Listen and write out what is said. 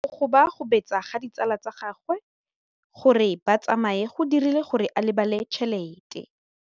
Go gobagobetsa ga ditsala tsa gagwe, gore ba tsamaye go dirile gore a lebale tšhelete.